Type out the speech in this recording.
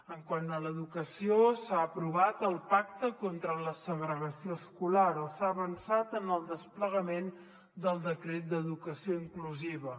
quant a l’educació s’ha aprovat el pacte contra la segregació escolar o s’ha avançat en el desplegament del decret d’educació inclusiva